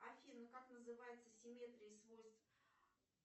афина как называется симметрия свойств